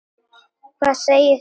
Hvað segið þið um það?